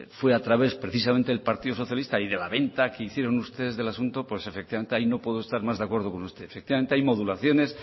fue a través precisamente del partido socialista y de la venta que ustedes hicieron del asunto pues efectivamente ahí no puedo estar más de acuerdo con usted efectivamente hay modulaciones